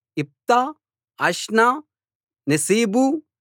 ఇప్తా అష్నా నెసీబు